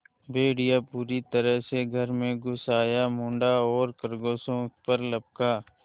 भेड़िया पूरी तरह से घर में घुस आया मुड़ा और खरगोशों पर लपका